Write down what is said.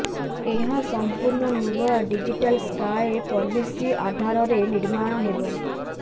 ଏହା ସମ୍ପୂର୍ଣ୍ଣ ନୂଆ ଡିଜିଟାଲ ସ୍କାଏ ପଲିସି ଆଧାରରେ ନିର୍ମାଣ ହେବ